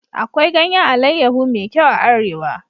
Akwai ganyan alayyahu me kyau a arewa